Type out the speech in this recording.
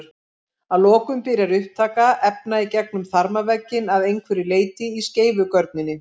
Að lokum byrjar upptaka efna í gegnum þarmavegginn að einhverju leyti í skeifugörninni.